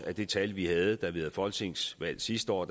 at det tal vi havde da vi havde folketingsvalg sidste år